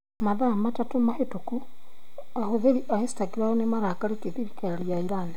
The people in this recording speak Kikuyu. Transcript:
Mathaa matatũ mahĩtũku ahũthĩri a Instagram nĩ marakarĩtie thirikari ya Iran.